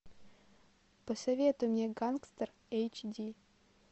посоветуй мне гангстер эйч ди